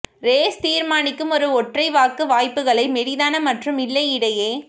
race தீர்மானிக்கும் ஒரு ஒற்றை வாக்கு வாய்ப்புகளை மெலிதான மற்றும் இல்லை இடையே